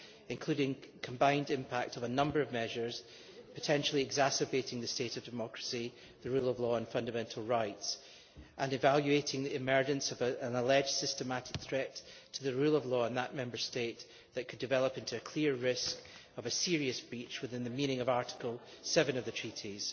including the combined impact of a number of measures exacerbating the state of democracy, the rule of law and fundamental rights, and evaluating the emergence of a systemic threat to the rule of law in that Member State that could develop into a clear risk of a serious breach within the meaning of Article 7 TEU',